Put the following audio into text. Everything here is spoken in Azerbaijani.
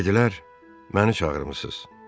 Dedilər, məni çağırmısınız?